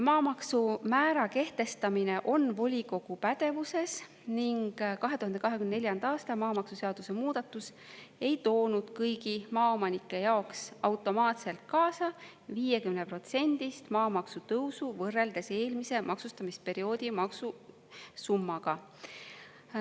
Maamaksumäära kehtestamine on volikogu pädevuses ning 2024. aasta maamaksuseaduse muudatus ei toonud kõigi maaomanike jaoks automaatselt kaasa 50%-st maamaksu tõusu võrreldes eelmise maksustamisperioodi maksusummaga.